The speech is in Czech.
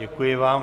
Děkuji vám.